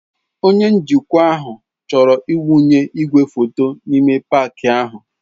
Onye njikwa ahụ chọrọ ịwụnye igwefoto n'ime paaki ahụ.